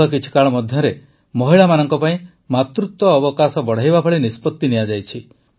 ଗତ କିଛିକାଳ ମଧ୍ୟରେ ମହିଳାମାନଙ୍କ ପାଇଁ ମାତୃତ୍ୱ ଅବକାଶ ବଢ଼ାଇବା ଭଳି ନିଷ୍ପତି ନିଆଯାଇଛି